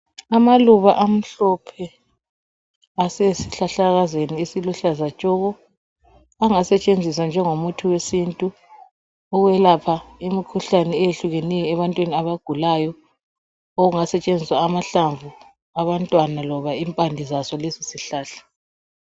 amaluba amhlophe asezihlahlakazaneeziluhlazatshoko angasetshenziswa njengomuthi wesintu ukwelapha imikhuhlane eyehlukeneyo ebantwini abagulayo okungasetshenziswa amahlamvu abantwana loba impande zaso lesosihlahla